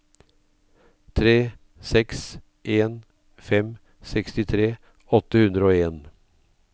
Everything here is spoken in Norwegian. tre seks en fem sekstitre åtte hundre og en